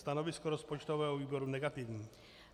Stanovisko rozpočtového výboru negativní.